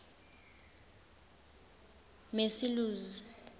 macilose